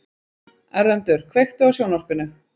Erlendur, kveiktu á sjónvarpinu.